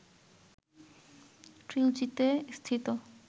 ট্রিলজিতে স্থিত